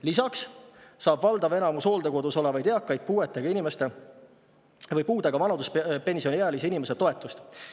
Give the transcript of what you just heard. Lisaks saab valdav enamus hooldekodus olevaid eakaid puudega vanaduspensioniealise inimese toetust.